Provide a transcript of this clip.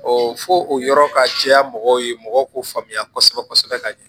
fɔ o yɔrɔ ka jɛya mɔgɔw ye mɔgɔw k'u faamuya kosɛbɛ kosɛbɛ ka ɲɛ